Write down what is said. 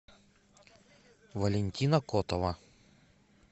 валентина котова